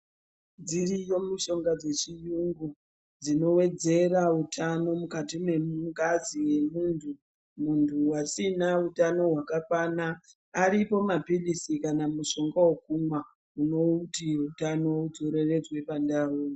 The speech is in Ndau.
Dziriyo mishonga dzechiyungu dzinowedzera utano mukati mengazi yemuntu , muntu asina utano hwakakwana aripo maphirizi kana mushonga wekumwa unoti utano udzoreredzwe pandau